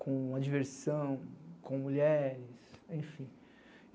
com diversão, com mulheres, enfim.